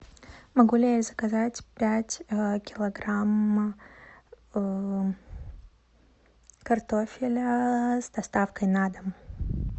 могу ли я заказать пять килограмм картофеля с доставкой на дом